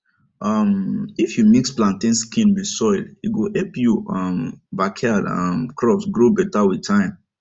um if you mix plantain skin with soil e go help your um backyard um crops grow better with time